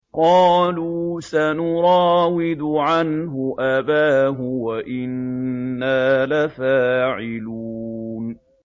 قَالُوا سَنُرَاوِدُ عَنْهُ أَبَاهُ وَإِنَّا لَفَاعِلُونَ